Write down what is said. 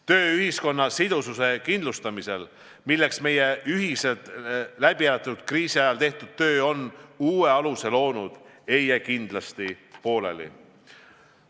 Töö ühiskonna sidususe kindlustamisel, milleks meie ühiselt läbielatud kriisi ajal tehtud töö on uue aluse loonud, ei jää kindlasti pooleli.